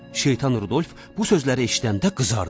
Şeytan Rudolf bu sözləri eşidəndə qızardı.